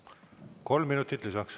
Kolm minutit lisaks.